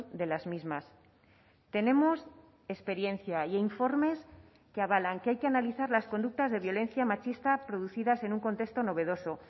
de las mismas tenemos experiencia e informes que avalan que hay que analizar las conductas de violencia machista producidas en un contexto novedoso